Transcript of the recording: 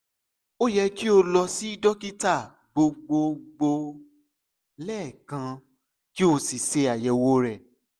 o yẹ ki o lọ si dokita gbogbogbo lẹẹkan ki o si ṣe ayẹwo rẹ